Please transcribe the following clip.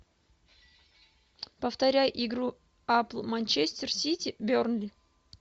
повторяй игру апл манчестер сити бернли